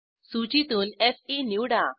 सूचीतून फे निवडा